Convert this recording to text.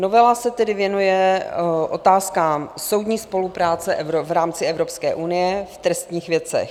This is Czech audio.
Novela se tedy věnuje otázkám soudní spolupráce v rámci Evropské unie v trestních věcech.